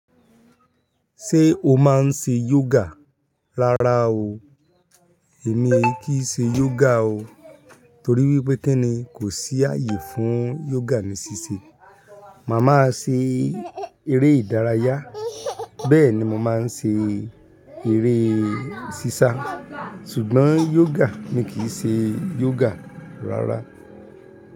Ṣé o máa ń ṣe yoga? Rárá o, èmi kìn ṣe yoga o torí wípé kí ni kò sí ààyè fún yoga ní ṣíṣe. Màá máa ṣe eré ìdárayá bẹ́ẹ̀ ni mo máa ń ṣe eré sísá ṣùgbọ́n yoga mi kìn ṣe yoga rárá.